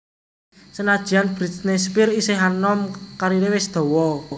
Senadyan Britney Spears isih anom kariré wis dawa